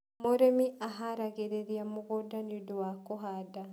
Mũrĩmi aharagiriria mũgũnda nĩũndũ wa kũhanda